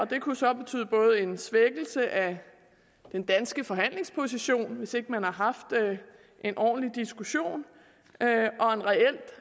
det kunne så betyde både en svækkelse af den danske forhandlingsposition hvis ikke man har haft en ordentlig diskussion og en reelt